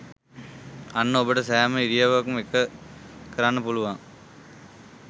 අන්න ඔබට සෑම ඉරියව්වකම ඒක කරන්න පුළුවන්